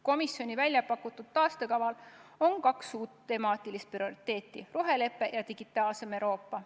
Komisjoni väljapakutud taastekaval on kaks uut temaatilist prioriteeti: rohelepe ja digitaalsem Euroopa.